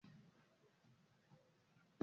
Ṣe wón jẹ ará ti àwọn ègbé abúlé èyíkéyìí lọwọlọwọ báyìí?